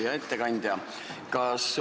Hea ettekandja!